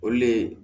Olu le